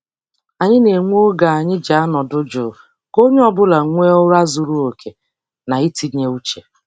Anyị na-enwe oge anyị ji anọdụ juu ka onye ọ bụla nwee ụra zuru oke na itinye uche.